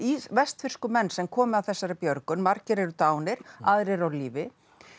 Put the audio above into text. vestfirsku menn sem komu að þessari björgun margir eru dánar aðrir eru á lífi